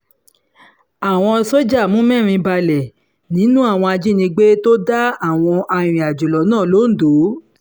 àwọn sójà mú mẹ́rin balẹ̀ nínú àwọn ajínigbé tó dá àwọn arìnrìn-àjò lọ́nà lọ́dọ̀